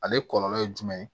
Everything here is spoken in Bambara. Ale kɔlɔlɔ ye jumɛn ye